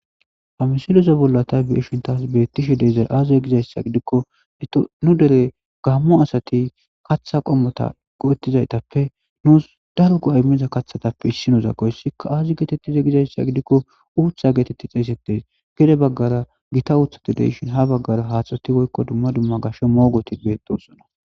ha misiloze bollatay beishin taas beettishe deeizay aaziza gizayssa gidikko nu dere gammu asati kaththa qommota go7ettizaytappe nuus dargu aymeza kathatappe issinozakoyssikka aazi geetettize gizayssa gidikko uutha geetetti xeesettes gede baggara gita uuthadideishin ha baggara haaxeti woykko dumma dumma gasho moogoti beedosona